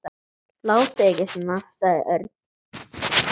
Látið ekki svona sagði Örn.